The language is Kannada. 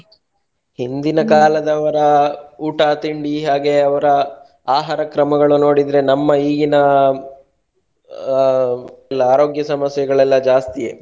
ಹಿಂದಿನ ಊಟ ತಿಂಡಿ ಹಾಗೆ ಅವರ ಆಹಾರ ಕ್ರಮಗಳು ನೋಡುದ್ರೆ ನಮ್ಮ ಈಗಿನ ಆ ಆರೋಗ್ಯ ಸಮಸ್ಯೆಗಳೆಲ್ಲ ಜಾಸ್ತಿಯೆ.